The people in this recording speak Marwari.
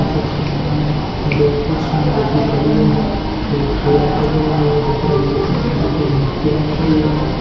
ई चित्र के मायन दो कुर्सियां है जेकी पड़ी है एक केन पड़ियो है एक ऊपरे विवेकानंद जी की मूर्ति लाग री है।